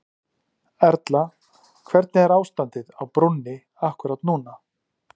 Erla hvernig er ástandið á brúnni akkúrat núna?